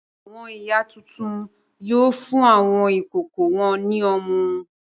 Àwọn ìyá tuntun yóò fún àwọn ìkókó wọn ní ọmú.